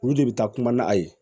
Olu de bɛ taa kuma n'a ye